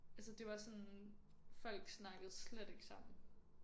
Altså det var sådan folk snakkede slet ikke sammen